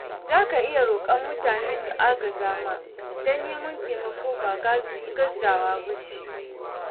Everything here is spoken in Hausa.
Za ka iya roƙar mutane su agaza ma, don neman taimako ba gazawa ce ba.